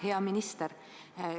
Hea minister!